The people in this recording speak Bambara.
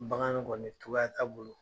N bagan koni togoya t'a bolo.